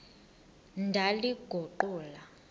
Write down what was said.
ndaliguqula